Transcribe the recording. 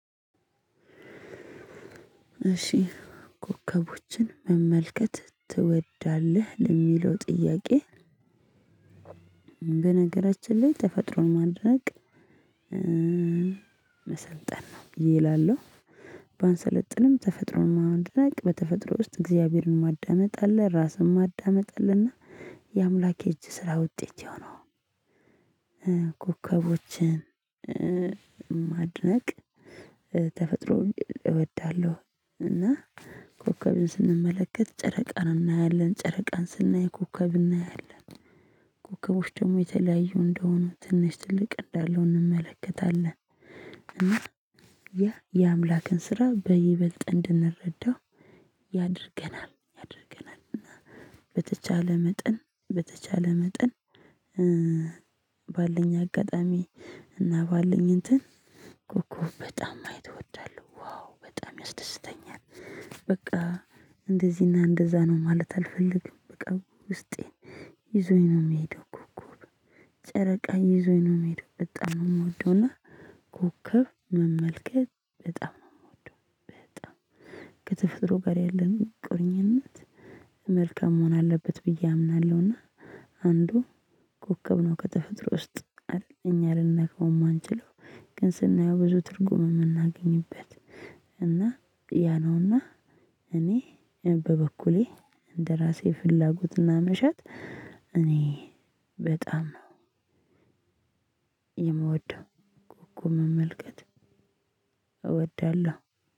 እሺ ኮከቦችን መመልከት ትወዳለህ ለሚለው ጥያቄ? በነገራችን ላይ ተፈጥሮን ማድረግ መሰልጠን ነው ይላሉ። ባንሰለጥንም ተፈጥሮን ማወቅ ነው በተፈጥሮ ውስጥ እግዚአብሔርን ማዳመጥ አለ ራስን ማዳመጥ አለና። የአምላኬ እጅ ስራ ውጤት የሆነው ን። ኮከቦችን ማድነቅ ተፈጥሮ እወዳለሁ። እና ኮከብን ስንመለከት ጨረቃን እናያለን ጨረቃን ስናይ ኮከብ እናያለን። ኮከቦች ደግሞ የተለያዩ እንደሆኑ ትንሽ ጥልቅ እንዳለው እንመለከታለን። እና ያ የአምላክን ስራ በይበልጥ እንድንረዳው ያድርገናል። እና በተቻለ መጠን በተቻለ መጠን። ኧ ባለኝ አጋጣሚ እና ባለኝ እንትን ኮከብ በጣም ማየት እወዳለሁ ዋው በጣም ያስደስተኛል። በቃ እንደዚህና እንደዛ ነው ማለት አልፈልግም በቃ ውስጤ ይዞኝ ነው የምሄደው። ኮከብ ጨረቃ ይዞኝ ነው የምሄደው። በጣም ነው የምወደውና ኮከብ መመልከት በጣም ነው የምወደው። በጣም የተፈጥሮ ጋር ያለንን ቁርኝነት መልከም መሆን አለበት ብዬ አምናለሁና። አንዱ ኮከቡ ከተፈጥሮ ውስጥ አይደለም እኛ ልንነግመው የማንችለው። ግን ስናየው ብዙ ትርጉም የምናገኝበት። እና ያ ነውና እኔ በበኩሌ እንደራሴ ፍላጎትና መሻት። እኔ በጣም የምወደው ጉም መመልከት እወዳለሁ